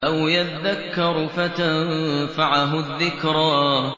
أَوْ يَذَّكَّرُ فَتَنفَعَهُ الذِّكْرَىٰ